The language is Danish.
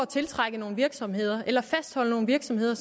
tiltrække nogle virksomheder eller fastholde nogle virksomheder